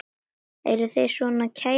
Eruð þér svona kær drengur?